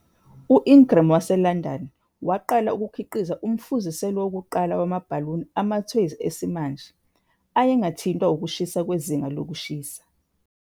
U-Ingram waseLondon waqala ukukhiqiza umfuziselo wokuqala wamabhaluni amathoyizi esimanje, ayengathintwa ukushintsha kwezinga lokushisa.